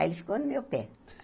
Aí ele ficou no meu pé.